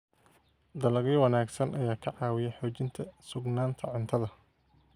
Dalagyo wanaagsan ayaa ka caawiya xoojinta sugnaanta cuntada.